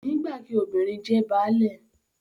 Kò ní gbà kí “ obìnrin jẹ baálé ”